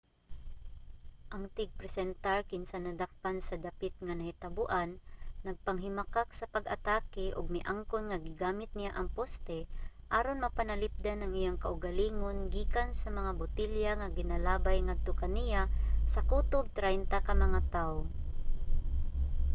ang tigpresentar kinsa nadakpan sa dapit nga nahitaboan nagpanghimakak sa pag-atake ug miangkon nga gigamit niya ang poste aron mapanalipdan ang iyang kaugalingon gikan sa mga botelya nga ginalabay ngadto kaniya sa kutob traynta ka mga tawo